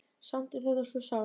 Samt er þetta svo sárt.